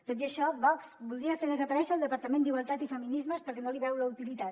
tot i això vox voldria fer desaparèixer el departament d’igualtat i feminismes perquè no li veu la utilitat